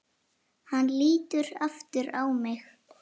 Hann lítur aftur á mig.